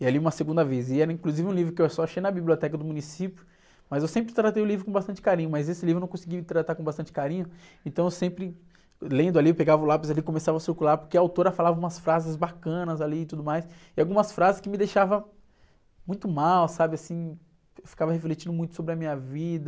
E aí li uma segunda vez, e era inclusive um livro que eu só achei na biblioteca do município, mas eu sempre tratei o livro com bastante carinho, mas esse livro eu não consegui tratar com bastante carinho, então eu sempre, lendo ali, eu pegava o lápis ali e começava a circular, porque a autora falava umas frases bacanas ali e tudo mais, e algumas frases que me deixavam muito mal, sabe, assim? Eu ficava refletindo muito sobre a minha vida.